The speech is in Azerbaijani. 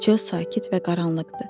Çöl sakit və qaranlıqdı.